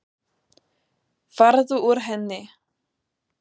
Farðu úr henni.